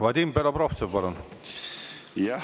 Vadim Belobrovtsev, palun!